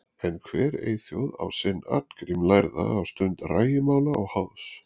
En hver eyþjóð á sinn Arngrím lærða á stund rægimála og háðs.